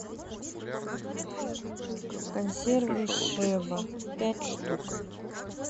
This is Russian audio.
консервы шеба пять штук